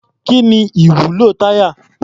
Kí ni ìwúlò táyà?